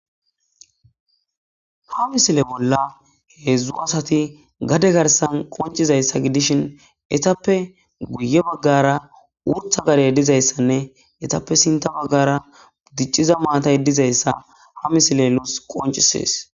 Ha misile bolla hezu asati gade garsan qoncizayssa gidishin etappe guye baggara wurtha gare yeddizayssanne etappe sinta baggara diciza maata yedizayisa ha misile lus qoncisees